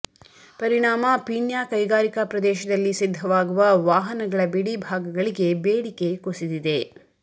ಪರಿಣಾಮ ಪೀಣ್ಯ ಕೈಗಾರಿಕಾ ಪ್ರದೇಶದಲ್ಲಿ ಸಿದ್ಧವಾಗುವ ವಾಹನಗಳ ಬಿಡಿ ಭಾಗಗಳಿಗೆ ಬೇಡಿಕೆ ಕುಸಿದೆ